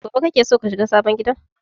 Gobe kake so ka shiga sabon gidan?